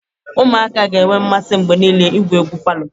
Ụmụaka ga-enwe mmasị mgbe niile igwu egwu palọ.